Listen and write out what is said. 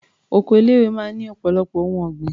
Oko ilé-ìwé máa ń ní ọ̀pọ̀lọpọ̀ ohun ọ̀gbìn.